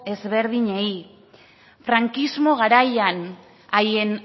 ezberdinei frankismo garaian haien